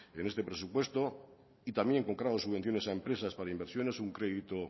en este presupuesto y también con subvenciones a empresas para inversiones un crédito